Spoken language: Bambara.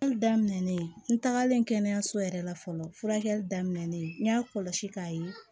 daminɛnen n tagalen kɛnɛyaso yɛrɛ la fɔlɔ furakɛli daminɛlen n y'a kɔlɔsi k'a ye